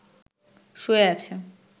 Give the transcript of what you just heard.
শুয়ে আছে